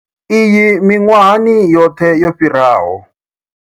Iyi miṅwahani yoṱhe yo fhiraho.